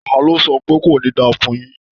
Ta ló sọ pé "kò ní da fún un yín"?